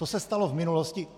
To se stalo v minulosti.